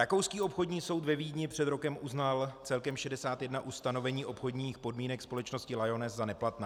Rakouský obchodní soud ve Vídni před rokem uznal celkem 61 ustanovení obchodních podmínek společnosti Lyoness za neplatná.